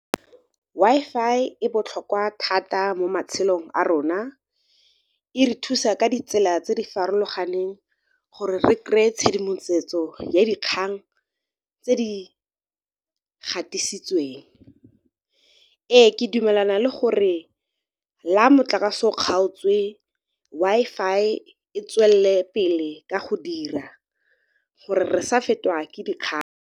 Wi-Fi e botlhokwa thata mo matshelong a rona, e re thusa ka ditsela tse di farologaneng gore re kry-e tshedimosetso ya dikgang tse di gatisitsweng. Ee, ke dumelana le gore la motlakase o kgaotswe Wi-Fi e tswelele pele ka go dira gore re sa fetiwa ke dikgang.